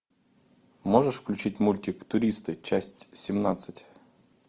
можешь включить мультик туристы часть семнадцать